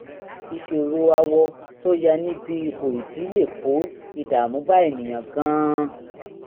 ìṣòro awọ tó ya níbi ihò ìdí lè kó ìdààmú bá ènìyàn gan-an